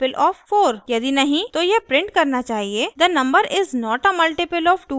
यदि नहीं तो यह प्रिंट करना चाहिए the number is not a multple of 2 3 or 4